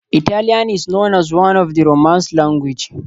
Italian is known as one of the romance language.